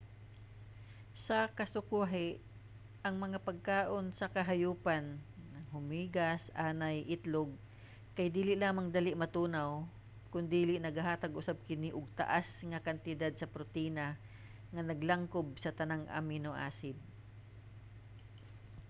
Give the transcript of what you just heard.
sa kasukwahi ang mga pagkaon sa kahayupan hulmigas anay itlog kay dili lamang dali matunaw kondili nagahatag usab kini og taas nga kantidad sa protina nga naglangkob sa tanang amino acid